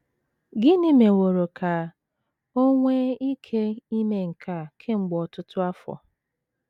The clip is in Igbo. Gịnị meworo ka o nwee ike ime nke a kemgbe ọtụtụ afọ?